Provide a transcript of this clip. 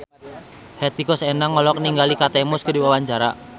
Hetty Koes Endang olohok ningali Kate Moss keur diwawancara